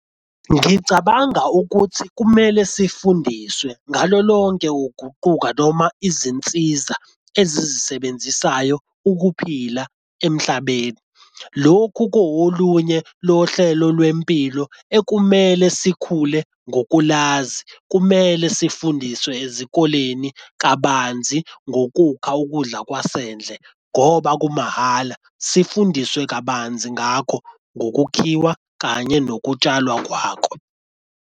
Ngicabanga ukuthi kumele sifundiswe ngalo lonke ukuguquka noma izinsiza ezisebenzisayo ukuphila emhlabeni. Lokhu kuwolunye lohlelo lwempilo ekumele sikhule ngokulazi, kumele sifundiswe ezikoleni kabanzi ngokukha ukudla kwasendlini ngoba kumahhala sifundiswe kabanzi ngakho ngokukhiwa kanye nokutshalwa kwako.